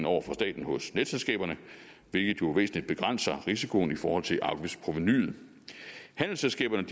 over for staten hos netselskaberne hvilket jo væsentligt begrænser risikoen i forhold til afgiftsprovenuet handelsselskaberne